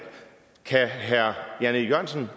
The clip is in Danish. kan herre jan e jørgensen